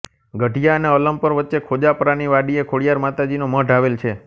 ગઢીયા અને અલમપર વચ્ચે ખોજાપરાની વાડીએ ખોડીયાર માતાજીનો મઢ આવેલ છે